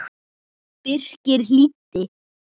Birkir hlýddi.